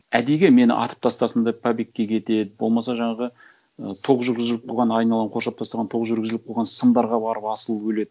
әдейіге мені атып тастасын деп побегке кетеді болмаса жаңағы ы тоқ жүргізіліп қойған айналаны қоршап тастаған тоқ жүргізіліп қойған сымдарға барып асылып өледі